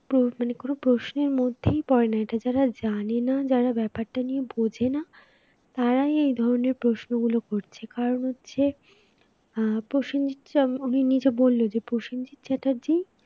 প্র কোন প্রশ্নের মধ্যেই পড়ে না, এটা যারা জানে না যারা ব্যাপারটা নিয়ে বোঝেনা তারাই এই ধরনের প্রশ্নগুলো করছে কারণ হচ্ছে আহ প্রসেনজিৎ নিজে বলল প্রসেনজিৎ চ্যাটার্জী